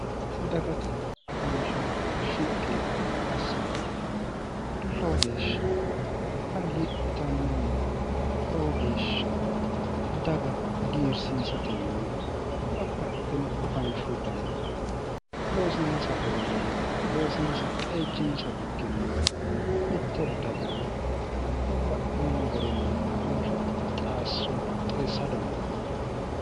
dagate afansha shiqqi assara loo geeshsha hagiidhitannonna loo geeshsha daga hagiirsiisate yine bapahitino afanshu dana loosinsa garinni ikko loosinsa qeejchinsa bikkinni mitte dagara babba'ino garinni afanshu qixaasso qixeessa dandinanni